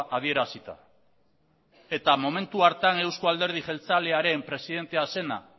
adierazita eta momentu hartan euzko alderdi jeltzalearen presidentea zena